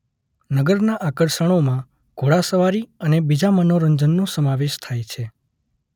નગરના આકર્ષણોમાં ઘોડા સવારી અને બીજા મનોરંજનનો સમાવેશ થાય છે.